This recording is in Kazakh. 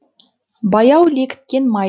баяу лекіткен май